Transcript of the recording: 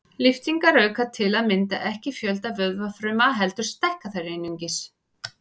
Lyftingar auka til að mynda ekki fjölda vöðvafruma heldur stækka þær einungis.